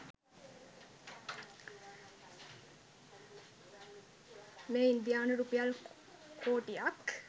මෙය ඉන්දියානු රුපියල් කෝටික්